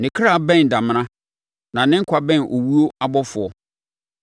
Ne ɔkra bɛn damena, na ne nkwa bɛn owuo abɔfoɔ.